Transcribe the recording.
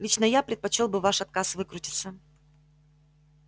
лично я предпочёл бы ваш отказ выкрутиться